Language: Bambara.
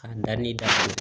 K'an da ni da